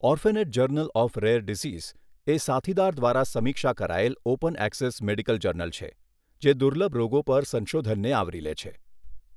Orphanet journal of rare diseases એ સાથીદાર દ્વારા સમીક્ષા કરાયેલ ઓપન ઍક્સેસ મેડિકલ જર્નલ છે જે દુર્લભ રોગો પર સંશોધનને આવરી લે છે.